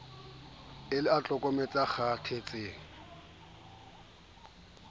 e le e tlokomang ekgaphatsehang